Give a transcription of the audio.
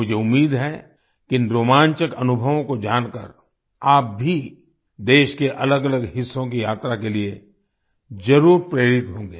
मुझे उम्मीद है कि इन रोमांचक अनुभवों को जानकर आप भी देश के अलगअलग हिस्सों की यात्रा के लिए जरुर प्रेरित होंगे